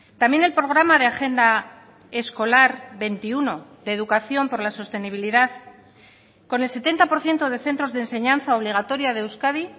también el programa de agenda escolar veintiuno de educación por la sostenibilidad con el setenta por ciento de centros de enseñanza obligatoria de euskadi